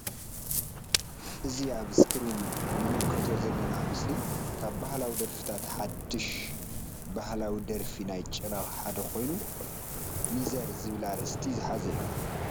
እዚ ኣብ እስክሪን ንምልከቶ ዘለና ምስሊ ካብ ባህላዊ ደርፍታት ሓድሽ ባህላዊ ደርፊ ናይ ጭራ ሓደ ኮይኑ ሚዘር ዝበል ኣርእስቲ ዝሓዘ እዩ።